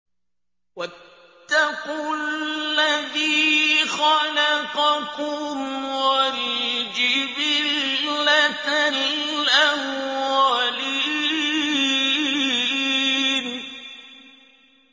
وَاتَّقُوا الَّذِي خَلَقَكُمْ وَالْجِبِلَّةَ الْأَوَّلِينَ